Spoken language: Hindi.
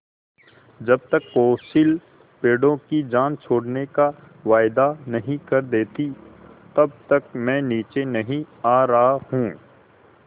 जब तक कौंसिल पेड़ों की जान छोड़ने का वायदा नहीं कर देती तब तक मैं नीचे नहीं आ रहा हूँ